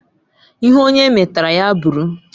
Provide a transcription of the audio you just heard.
Ihe onye metara ya bụrụ